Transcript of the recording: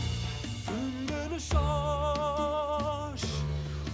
сүмбіл шаш